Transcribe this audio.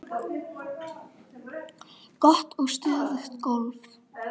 Gott og stöðugt golf!